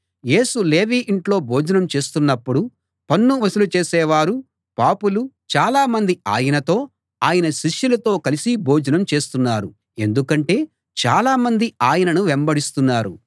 యేసు లేవి ఇంట్లో భోజనం చేస్తున్నపుడు పన్ను వసూలు చేసేవారు పాపులు చాలామంది ఆయనతో ఆయన శిష్యులతో కలిసి భోజనం చేస్తున్నారు ఎందుకంటే చాలా మంది ఆయనను వెంబడిస్తున్నారు